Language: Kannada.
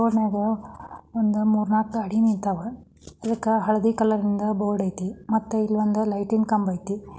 ಮೂರುನಾಕು ಗಡಿ ನಿಂತವೇ ಹಳದಿ ಕಲ್ಲಂಗಡಿ ಮತ್ತೆ ಅಲ್ಲಲ್ಲಿ ಕಂಡುಬಂತು.